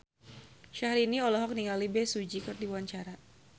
Syahrini olohok ningali Bae Su Ji keur diwawancara